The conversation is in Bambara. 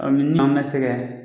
ni maa ma sɛgɛn